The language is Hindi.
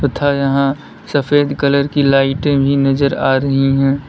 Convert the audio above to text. तथा यहां सफेद कलर की लाइटें भी नजर आ रही हैं।